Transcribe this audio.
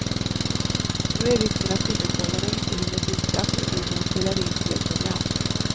Då är risken att sifferkoderna inte hinner bytas och videon spelar in fel program.